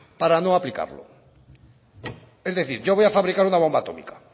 para no aplicarlo es decir yo voy a fabricar una bomba atómica